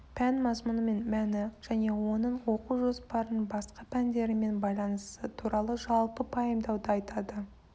пән мазмұны мен мәні және оның оқу жоспарының басқа пәндерімен байланысы туралы жалпы пайымдауды айтады